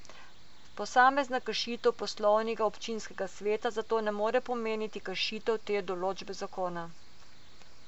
Posamezna kršitev poslovnika občinskega sveta zato ne more pomeniti kršitve te določbe zakona.